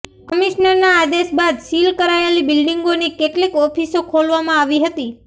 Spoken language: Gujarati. કમિશનરના આદેશ બાદ સીલ કરાયેલી બિલ્ડિંગોની કેટલીક ઓફિસો ખોલવામાં આવી હતી